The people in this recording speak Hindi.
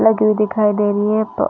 लगी हुई दिखाई दे रही है पर --